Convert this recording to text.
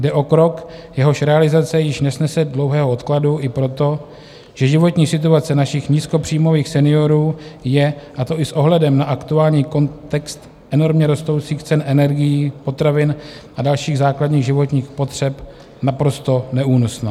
Jde o krok, jehož realizace již nesnese dlouhého odkladu i proto, že životní situace našich nízkopříjmových seniorů je, a to i s ohledem na aktuální kontext enormně rostoucích cen energií, potravin a dalších základních životních potřeb, naprosto neúnosná.